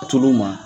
Tul'u ma